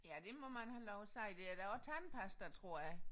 Ja det må man have lov at sige der er da også tandpasta tror jeg